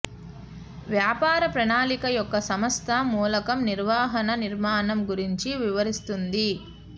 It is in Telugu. వ్యాపార ప్రణాళిక యొక్క సంస్థ మూలకం నిర్వహణ నిర్మాణం గురించి వివరిస్తుంది